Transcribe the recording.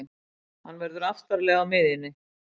Hann verður aftarlega á miðjunni.